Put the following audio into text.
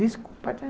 Desculpa, né?